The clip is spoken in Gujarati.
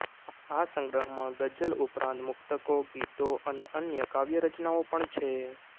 આ સંગ્રહમાં ગઝલ ઉપરાંત મુક્તકો ગીતો અને અન્ય કાવ્યરચનાઓ પણ છે